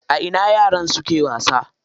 A ina yaran suke wasa?